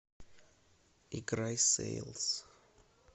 играй сэйлс